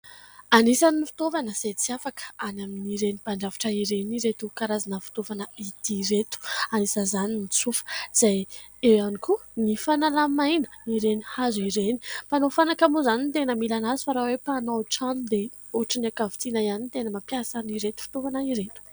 Anisan'ny fitaovana izay tsy afaka any amin'ireny mpandrafitra ireny ireto karazana fitaovana ity ireto. Anisan'izany ny tsofa izay eo ihany koa ny fanalamaina ireny hazo ireny. Mpanao fanaka moa izany tena mila azy fa raha hoe mpanao trano dia ohatra ny ankavitsiana ihany ny tena mampiasa ireny fitovana ireny.